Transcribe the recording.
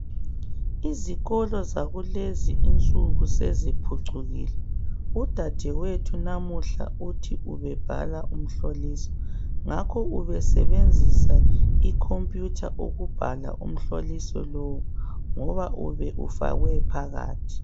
Izikolo zakulezi insuku seziphucukile. Udadewethu namuhla uthi ubebhala umhloliso. Ngakho ubesebenzisa icomputer ukubhala umhloliso lo ngoba ube ufakwe phakathi .